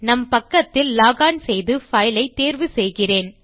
நம் பக்கக்தில் லோகோன் செய்து பைல் ஐ தேர்வு செய்கிறேன்